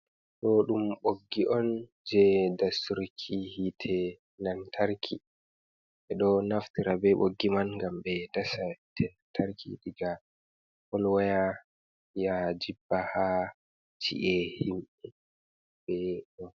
To, dum boggi on je dasturki hite lantarki. Be do naftira be boggi man gam be dasa tenantarki diga polwaya ya jibba ha chi’e himbe on.